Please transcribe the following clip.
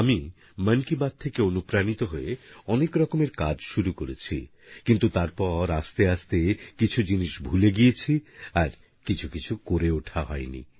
আমি মন কি বাত থেকে অনুপ্রাণিত হয়ে অনেক রকমের কাজ শুরু করেছি কিন্তু তারপর আস্তে আস্তে কিছু জিনিস ভুলে গিয়েছি আর কিছু কিছু করা হয়ে ওঠেনি